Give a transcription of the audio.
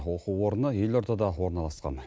оқу орны елордада орналасқан